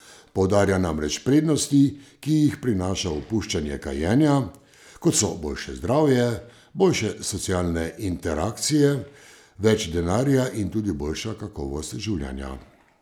Poudarja namreč prednosti, ki jih prinaša opuščanje kajenja, kot so boljše zdravje, boljše socialne interakcije, več denarja in tudi boljša kakovost življenja.